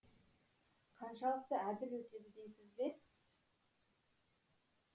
қаншалықты әділ өтеді дейсіз бе